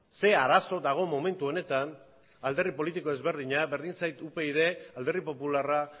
ze arazo dago momentu honetan alderdi politiko ezberdina berdin zait upyd alderdi popularra